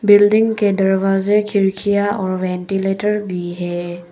Building के दरवाजे खिड़कियां और वेंटीलेटर भी है।